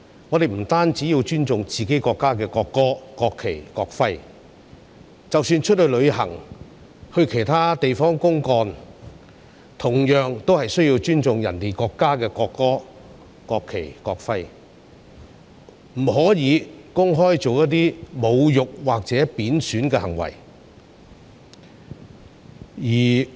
我們不單要尊重自己國家的國歌、國旗及國徽，即使出外旅行，或到其他地方公幹，同樣需要尊重其他國家的國歌、國旗及國徽，不可以公開作出侮辱或貶損的行為。